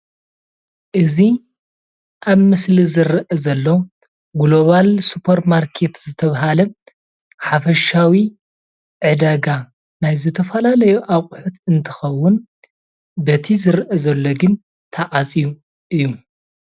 እዚ ኣብ ምስሊ ዝረአ ዘሎ ግሎባል ሱፐርማርኬት ዝተባሃለ ሓፈሻዊ ዕዳጋ ናይ ዝተፈላለዩ ኣቑሑት እንትኸውን በቲ ዝረአ ዘሎ ግን ተዓፅዩ እዩ፡፡